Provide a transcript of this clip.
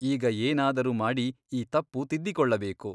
ಈಗ ಏನಾದರೂ ಮಾಡಿ ಈ ತಪ್ಪು ತಿದ್ದಿಕೊಳ್ಳಬೇಕು.